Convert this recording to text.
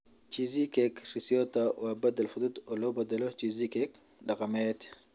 Cheesecake Ricotta waa beddel fudud oo loo beddelo cheesecake dhaqameed.